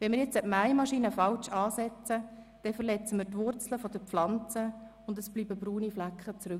Wenn wir jetzt diese Mähmaschine falsch ansetzen, dann verletzen wir die Wurzeln der Pflanzen, und es bleiben braune Flecken zurück.